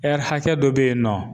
hakɛ dɔ be yen nɔ